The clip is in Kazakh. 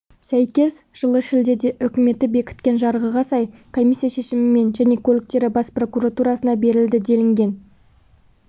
сәйкес жылы шілдеде үкіметі бекіткен жарғыға сай комиссия шешімімен және көліктері бас прокуратурасына берілді делінген